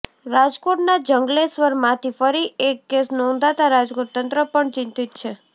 રાજકોટના જંગલેશ્વરમાંથી ફરી એક કેસ નોંધાતાં રાજકોટ તંત્ર પણ ચિંતિત છે